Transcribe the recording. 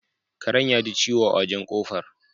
Karen yaji ciwo a wajen ƙofar